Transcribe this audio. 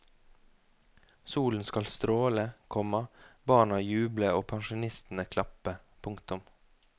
Solen skal stråle, komma barna juble og pensjonistene klappe. punktum